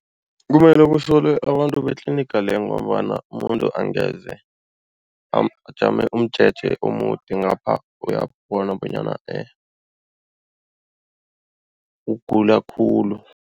Kumele kusolwe abantu betliniga leyo ngombana umuntu angeze ajame umjeje omude ngapha uyabona bonyana ugula khulu.